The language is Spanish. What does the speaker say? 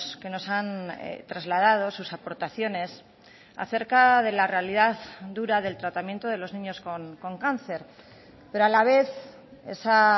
que nos han trasladado sus aportaciones acerca de la realidad dura del tratamiento de los niños con cáncer pero a la vez esa